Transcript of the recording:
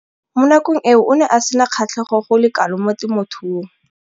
Mo nakong eo o ne a sena kgatlhego go le kalo mo temothuong.